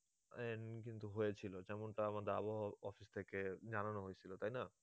কিন্তু হয়েছিল যেমনটা আমাদের আবহাওয়া office থেকে জানানো হয়েছিল, তাই না